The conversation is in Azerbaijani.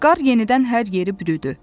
Qar yenidən hər yeri bürüdü.